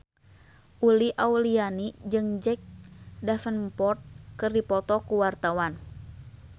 Uli Auliani jeung Jack Davenport keur dipoto ku wartawan